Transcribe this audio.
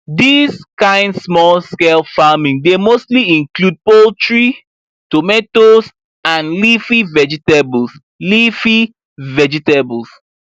dis kind smallscale farming dey mostly include poultry tomatoes and leafy vegetables leafy vegetables